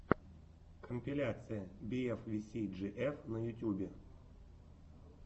компиляция би эф ви си джи эф на ютьюбе